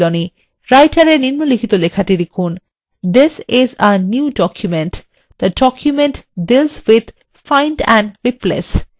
writer এ নিম্নলিখিত লেখাটি লিখুন this is a new document the document deals with find and replace